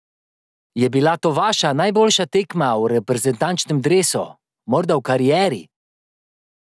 Je bila to vaša najboljša tekma v reprezentančnem dresu, morda v karieri?